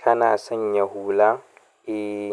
Kana sanya hula? Eh,